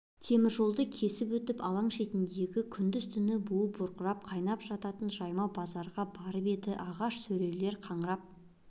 темір жолды кесіп өтіп алаң шетіндегі күндіз-түні буы бұрқырап қайнап жататын жайма базарға барып еді ағаш сөрелер қаңырап